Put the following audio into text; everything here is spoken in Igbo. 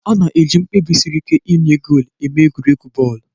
A na-eji mkpebi siri ike ịnye goolu emee egwuregwu bọọlụ.